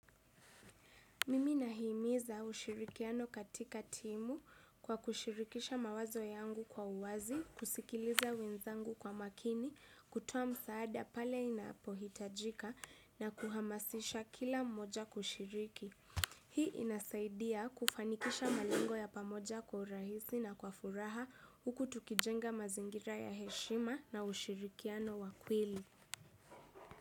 Mimi nahimiza ushirikiano katika timu kwa kushirikisha mawazo yangu kwa uwazi, kusikiliza wenzangu kwa makini, kutuoa msaada pale inapohitajika na kuhamasisha kila mmoja kushiriki. Hii inasaidia kufanikisha malengo ya pamoja kwa urahisi na kwa furaha huku tukijenga mazingira ya heshima na ushirikiano wakweli.